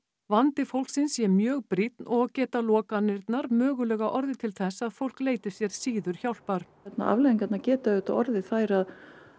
vandi fólksins sé mjög brýnn og geta lokanirnar mögulega orðið til þess að fólk leiti sér síður hjálpar afleiðingarnar geta auðvitað orðið þær að